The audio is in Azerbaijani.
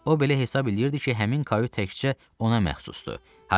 O belə hesab eləyirdi ki, həmin kavyd təkcə ona məxsusdur.